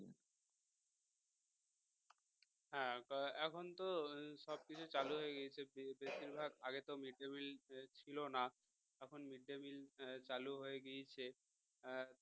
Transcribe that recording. এখন তো সবকিছু চালু হয়ে গেছে বেশিরভাগ আগে তো mid day meal ছিল না এখন mid day meal চালু হয়ে গেছে হম